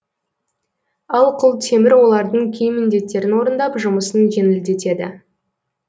ал құлтемір олардың кей міндеттерін орындап жұмысын жеңілдетеді